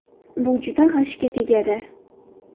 Bu juda g‘ashga tegadi.